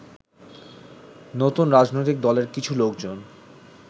নতুন রাজনৈতিক দলের কিছু লোকজন